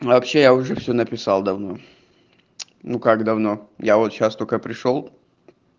вообще я уже все написал давно ну как давно я вот сейчас только пришёл